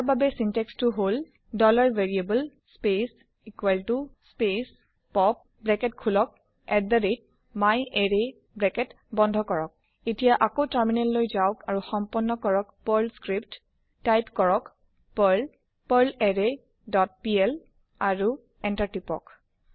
ইয়াৰ বাবে বাক্যবিন্যাস টো হল160 variable space space pop open bracket myArray close bracket এতিয়া আকৌ টাৰ্মিনেল লৈ যাওক আৰু সম্পন্ন কৰক পাৰ্ল স্ক্ৰিপ্ট টাইপ কৰক পাৰ্ল পাৰ্লাৰৰে ডট পিএল আৰু Enter কৰক